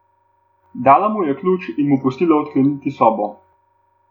Dala mu je ključ in mu pustila odkleniti sobo.